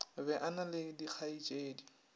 be a na le dikgaetšedi